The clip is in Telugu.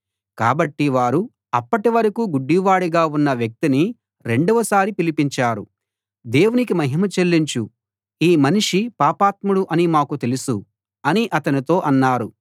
కాబట్టి వారు అప్పటివరకూ గుడ్డివాడిగా ఉన్న వ్యక్తిని రెండవ సారి పిలిపించారు దేవునికి మహిమ చెల్లించు ఈ మనిషి పాపాత్ముడు అని మాకు తెలుసు అని అతనితో అన్నారు